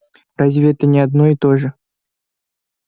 разве это не одно и то же